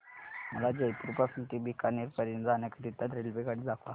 मला जयपुर पासून ते बीकानेर पर्यंत जाण्या करीता रेल्वेगाडी दाखवा